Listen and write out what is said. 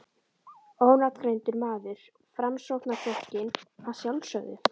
Ónafngreindur maður: Framsóknarflokkinn, að sjálfsögðu?